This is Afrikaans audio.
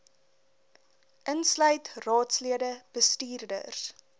insluit raadslede bestuurders